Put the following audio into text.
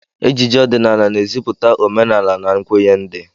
Ejije ọdịnala na-ezipụta omenala an nkwenye ndị